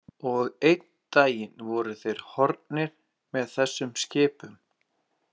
Og einn dag voru þeir horfnir með þessum skipum.